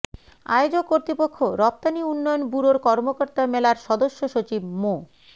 আয়োজক কর্তৃপক্ষ রপ্তানি উন্নয়ন ব্যুরোর কর্মকর্তা মেলার সদস্যসচিব মো